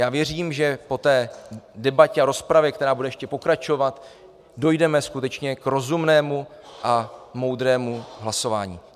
Já věřím, že po té debatě a rozpravě, která bude ještě pokračovat, dojdeme skutečně k rozumnému a moudrému hlasování.